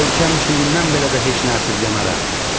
Ölkəm üçün indən belə də heç nə əsirgəmərəm.